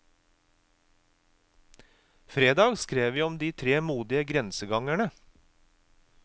Fredag skrev vi om de tre modige grensegangerne.